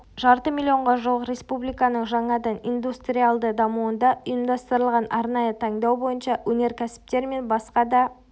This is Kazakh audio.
жарты миллионға жуық республиканың жаңадан индустриалды дамуында ұйымдастырылған арнайы таңдау бойынша өнеркәсіптер мен басқа да